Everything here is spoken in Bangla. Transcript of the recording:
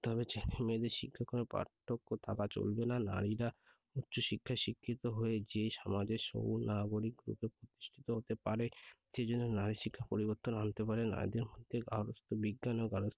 করতে হবে। ছেলে মেয়েদের শিক্ষাক্রমে পার্থক্য থাকা চলবেনা। নারীরা উচ্চ শিক্ষায় শিক্ষিত হয়ে যে সমাজের সুনাগরিক রূপে প্রতিষ্ঠিত হতে পারে সেজন্য নারী শিক্ষা পরিবর্তন আনতে পারে নারীদের মধ্যে আলোচিত বিজ্ঞান ও গার্হস্থ্য